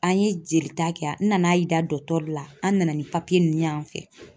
An ye jelita kɛ n nan'a yira la an nana ni ninnu y'an fɛ